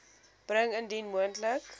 bring indien moontlik